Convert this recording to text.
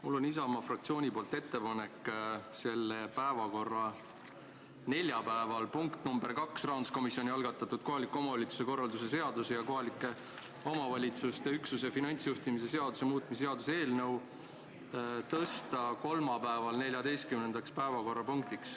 Mul on Isamaa fraktsiooni nimel ettepanek selle nädala neljapäevane punkt nr 2 ehk rahanduskomisjoni algatatud kohaliku omavalitsuse korralduse seaduse ja kohaliku omavalitsuse üksuse finantsjuhtimise seaduse muutmise seaduse eelnõu tõsta kolmapäeval 14. päevakorrapunktiks.